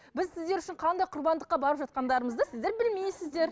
біз сіздер үшін қандай құрбандыққа барып жатқандарымызды сіздер білмейсіздер